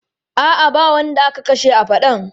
A'a, ba wanda aka kashe a faɗan.